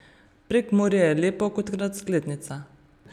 Prekmurje je lepo kot razglednica.